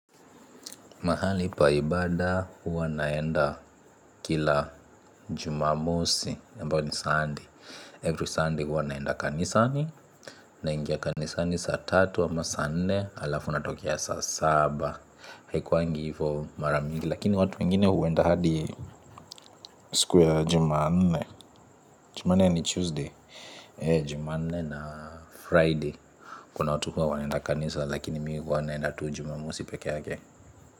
Mahali pa ibada huwa naenda kila Jumamosi. Ambao ni Sunday. Every Sunday huwa naenda kanisani. Naingia kanisani saa tatu ama saa nne, alafu natokea saa saba. Haikuangi hivo mara mingi. Lakini watu wengine huenda hadi siku ya Jumanne. Jumanne ni Tuesday. Jumanne na Friday. Kuna watu huwa wanaenda kanisa. Lakini mi huwa naenda tu Jumamosi pekeake.